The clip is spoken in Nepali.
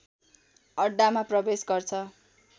अड्डामा प्रवेश गर्छ